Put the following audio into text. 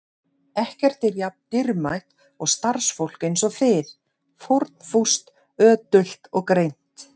Ekkert er jafn dýrmætt og starfsfólk eins og þið: fórnfúst, ötult og greint.